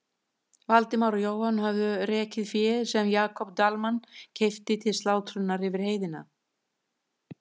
Valdimar og Jóhann höfðu rekið féð sem Jakob Dalmann keypti til slátrunar yfir heiðina.